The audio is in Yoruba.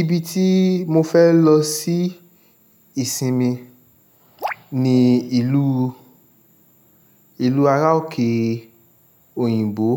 Ibi tí mo fẹ́ lọ sí ìsinmi ni ìlú, ìlú ará òkè òyìnbó.